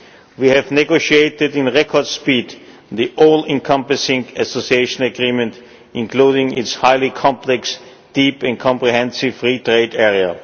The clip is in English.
We have negotiated with record speed the all encompassing Association Agreement, including its highly complex Deep and Comprehensive Free Trade Area.